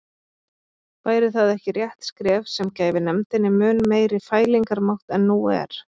Væri það ekki rétt skref sem gæfi nefndinni mun meiri fælingarmátt en nú er?